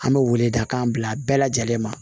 An bɛ weledakan bila bɛɛ lajɛlen ma